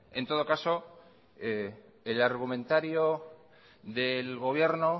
en todo caso el argumentario del gobierno